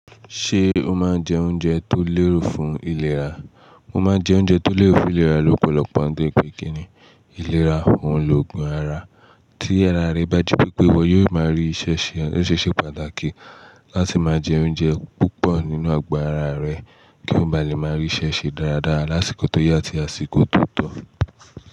Ṣé o máa ń jẹ oúnjẹ tó lérò fún ìlera? O máa jẹ oúnjẹ tó lérò fún ìlera lọ́pọ̀lọpọ̀ nítori pé kíni ìlera òhun lògùn ara. Tí ara rẹ bá jí pé pé wọ yóò máa rí ṣẹ́ṣẹ, ó ṣeé ṣe pàtàkì láti máa jẹ oúnjẹ púpọ̀ nínú àgọ́ ara rẹ kí o má lè máa ríṣẹ́ ṣe dáradára lásìkò tó yá àti àsìkò tó tọ́.